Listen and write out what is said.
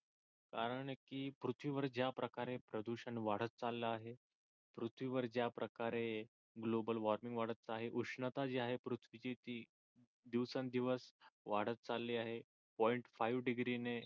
कारण की पृथ्वी वर ज्या प्रकारे प्रदूषण वाढत चालल आहे पृथ्वी वर ज्या प्रकारे गोबल वॉर्मिंग वाढत आहे उष्णता जी आहे पृथ्वी ची ती दिवसण दिवस वाढत चालली आहे पॉईंट फाईव्ह डिग्रीने